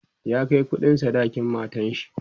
ya Kai kuɗin sadakin matanshi